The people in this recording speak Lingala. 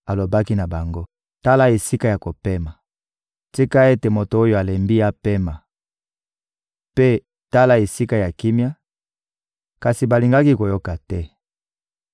alobaki na bango: «Tala esika ya kopema! Tika ete moto oyo alembi apema;» mpe: «Tala esika ya kimia,» kasi balingaki koyoka te.